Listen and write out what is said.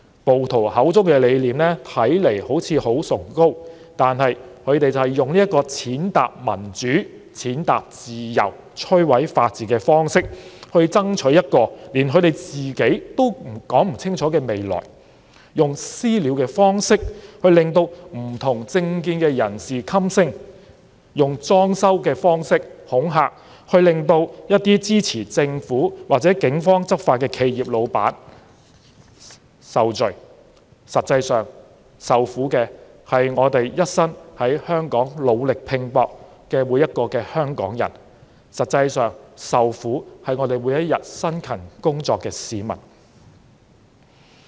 暴徒口中的理念看似很崇高，但他們用這種踐踏民主、踐踏自由、摧毀法治的方式去爭取連他們都說不清楚的未來，用"私了"的方式令政見不同的人士噤聲，用"裝修"的方式恐嚇支持政府或警方執法的企業，實際受苦的是一生在香港努力拼搏的每個香港人，是每天辛勤工作的市民。